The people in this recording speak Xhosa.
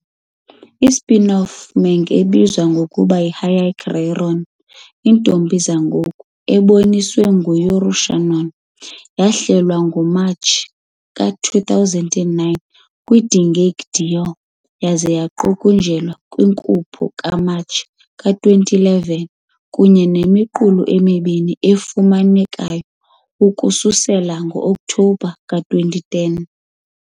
I-spin-off manga ebizwa ngokuba yi -Hyakka Ryōran- Iintombi Sengoku, eboniswa ngu-Yuri Shinano, yahlelwa ngoMatshi ka-2009 kwi-Dengeki Daioh yaze yaqukunjelwa kwinkupho kaMatshi ka-2011, kunye nemiqulu emibini efumanekayo ukususela ngo-Oktobha ka-2010.